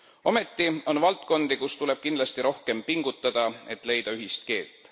Ometi on valdkondi, kus tuleb kindlasti rohkem pingutada, et leida ühist keelt.